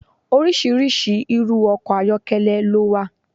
Oríṣiríṣi irú ọkọ̀ ayọ́kẹ́lẹ́ ló wà.